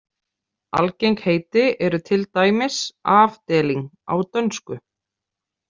Algeng heiti eru til dæmis afdeling á dönsku.